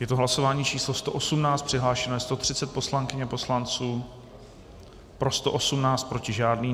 Je to hlasování číslo 118, přihlášeno je 130 poslankyň a poslanců, pro 118, proti žádný.